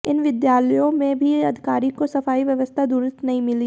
इन विद्यालयों में भी अधिकारी को सफाई व्यवस्था दुरुस्त नहीं मिली